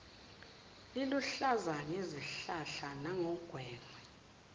liluhlaza ngezihlahla nangongwengwe